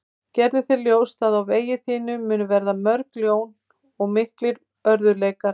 Gerðu þér ljóst að á vegi þínum munu verða mörg ljón og miklir örðugleikar.